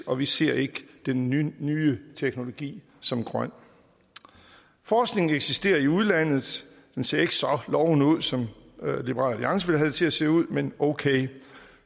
og vi ser ikke den nye nye teknologi som grøn forskningen eksisterer i udlandet den ser ikke så lovende ud som liberal alliance vil have det til at se ud men okay